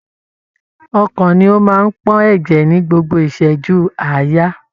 Ọkàn ni o máa n pọn ẹjẹ ni gbogbo iṣẹju aaya.